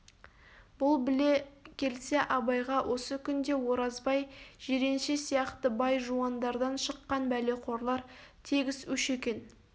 бұл біле келсе абайға осы күнде оразбай жиренше сияқты бай-жуандардан шыққан бәлеқорлар тегіс өш екен